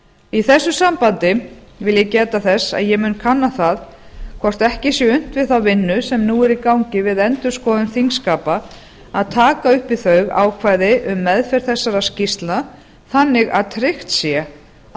í þessu sambandi vil ég geta þess að ég mun kanna það hvort ekki sé unnt við þá vinnu sem nú er í gangi við endurskoðun þingskapa að taka upp við þau ákvæði um meðferð þessara skýrslna þannig að tryggt sé að